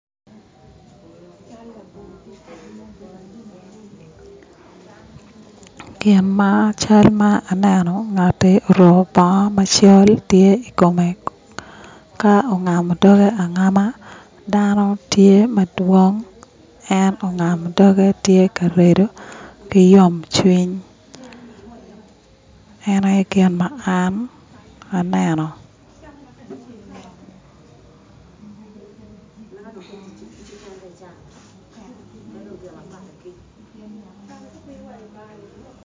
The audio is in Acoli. Gin ma aneno ngati oruko bongo ma cal tye ikome ka ongamo doge angama dano tye madwong en ongamo doge tye ka redo ki yom cwiny en aye gin ma an aneno